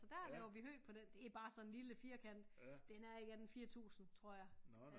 Så der laver vi hø på den det bare sådan en lille firkant den er ikke andet end 4000 tror jeg